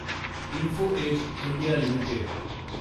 info edge India limited